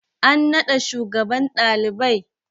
An naɗa shugaban ɗalibai?